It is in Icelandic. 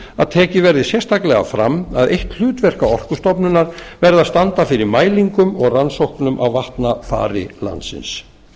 að tekið verði sérstaklega fram að eitt hlutverka orkustofnunar verði að standa fyrir mælingum og rannsóknum á vatnafari landsins